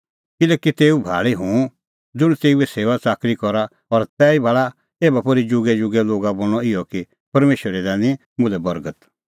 किल्हैकि तेऊ भाल़ी हुंह ज़ुंण तेऊए सेऊआ च़ाकरी करा और तैहीता भाल़ा एभा पोर्ही जुगेजुगे लोगा बोल़णअ इहअ कि परमेशरै दैनी मुल्है बर्गत